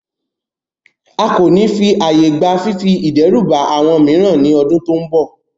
A ko ni fi aaye gba fifi idẹruba awọn miiran ni ọdun to nbọ